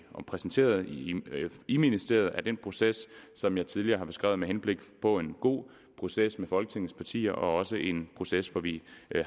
repræsenteret i i ministeriet i den proces som jeg tidligere har beskrevet med henblik på en god proces med folketingets partier og også en proces hvor vi